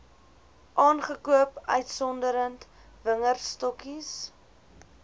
aangekoop uitgesonderd wingerdstokkies